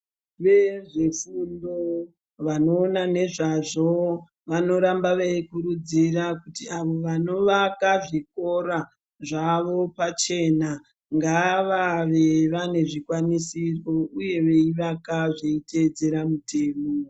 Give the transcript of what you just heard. Vezvefundo vanoona nezvazvo vanoramba veikurudzira kuti avo vanovaka zvikora zvavo pachena ngavave vane zvikwanisiro uye veivaka zveitedzera mutemo.